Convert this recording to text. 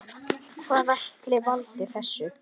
Hvað ætli valdi þessu?